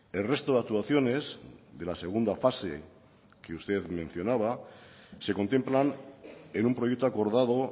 el resto de actuaciones de la segunda fase que usted mencionaba se contemplan en un proyecto acordado